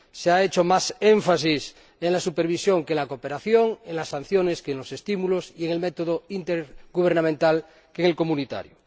Se ha hecho más énfasis en la supervisión que en la cooperación, en las sanciones que en los estímulos y en el método intergubernamental que en el comunitario.